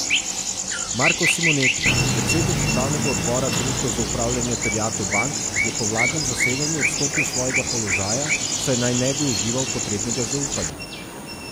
Marko Simoneti, predsednik upravnega odbora Družbe za upravljanje terjatev bank, je po vladnem zasedanju odstopil s svojega položaja, saj naj ne bi užival potrebnega zaupanja.